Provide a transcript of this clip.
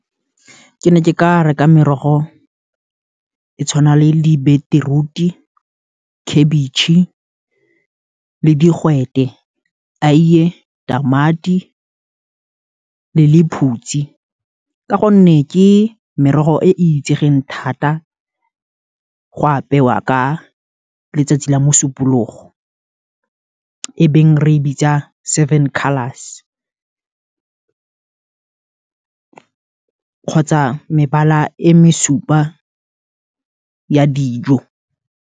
Ke ne ke ka reka merogo e tshwana le di-beetroot-e, khabetšhe, le digwete, aiye, tamati, le lephutsi, ka gonne ke merogo, e e itsegeng thata, go apewa ka letsatsi la mosupologo, e beng re e bitsa, seven colours kgotsa mebala e mesupa ya dijo.